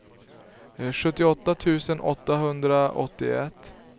sjuttioåtta tusen åttahundraåttioett